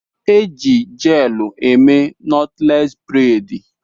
E Ji jelu eme nọtles bredi